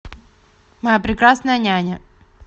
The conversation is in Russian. моя прекрасная няня